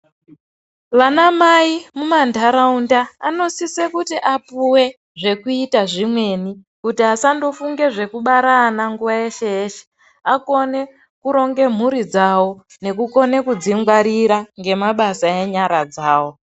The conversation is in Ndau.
Vanamai mumantaraunda anosise kuti apuwe zvekuita zvimweni ,kuti asandofunge zvekubara ana nguwa yeshe-yeshe, akone kuronge mhuri dzavo, nekukone kudzingwarira ngemabasa enyara dzavo.